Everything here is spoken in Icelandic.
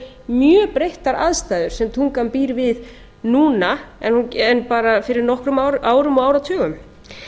eru mjög breyttar aðstæður sem tungan býr við núna en bara fyrir lokum árum og áratugum